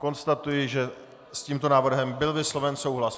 Konstatuji, že s tímto návrhem byl vysloven souhlas.